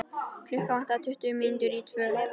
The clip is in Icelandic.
Klukkuna vantaði tuttugu mínútur í tvö.